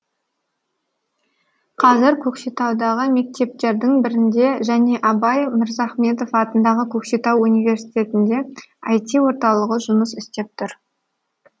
қазір көкшетаудағы мектептердің бірінде және абай мырзахметов атындағы көкшетау университетінде іт орталығы жұмыс істеп тұр